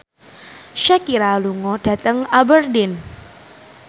Shakira lunga dhateng Aberdeen